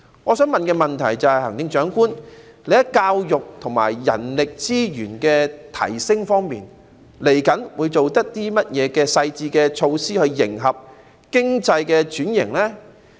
我的問題是，行政長官，你在提升教育和人力資源方面，未來會有何細緻的措施，以迎合經濟轉型？